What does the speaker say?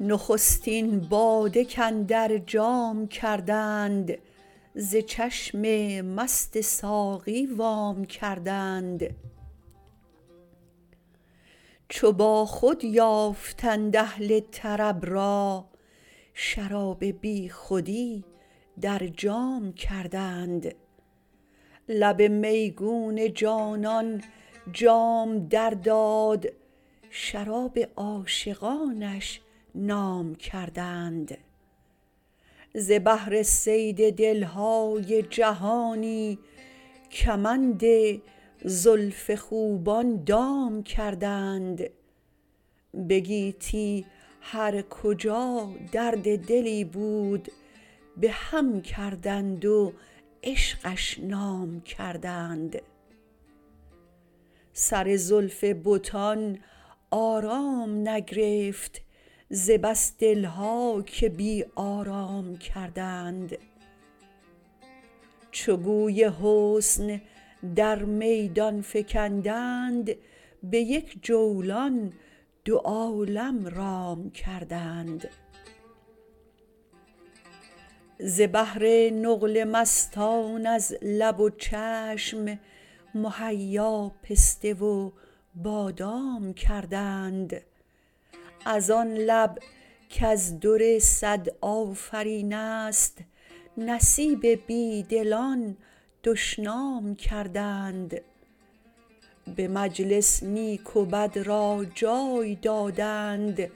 نخستین باده کاندر جام کردند ز چشم مست ساقی وام کردند چو باخود یافتند اهل طرب را شراب بیخودی در جام کردند لب میگون جانان جام در داد شراب عاشقانش نام کردند ز بهر صید دل های جهانی کمند زلف خوبان دام کردند به گیتی هر کجا درد دلی بود به هم کردند و عشقش نام کردند سر زلف بتان آرام نگرفت ز بس دل ها که بی آرام کردند چو گوی حسن در میدان فکندند به یک جولان دو عالم رام کردند ز بهر نقل مستان از لب و چشم مهیا پسته و بادام کردند از آن لب در خور صد آفرین است نصیب بی دلان دشنام کردند به مجلس نیک و بد را جای دادند